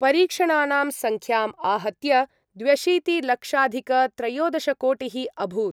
परीक्षणानां संख्याम् आहत्य द्व्यशीतिलक्षाधिकत्रयोदशकोटिः अभूत्।